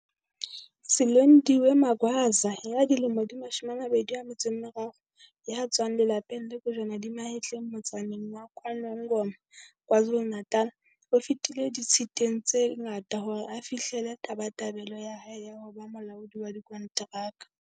Silondiwe Magwaza ya dilemo di 23 ya tswang lelapeng le kojwana di mahetleng motsaneng wa KwaNongoma, KwaZulu-Natal, o fetile di-tshiteng tse ngata hore a fi-hlelle tabatabelo ya hae ya ho ba molaodi wa dikonteraka.